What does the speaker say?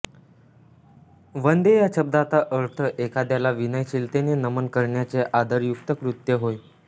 वंदे या शब्दाचा अर्थ एखाद्याला विनयशीलतेने नमन करण्याचे आदरयुक्त कृत्य होय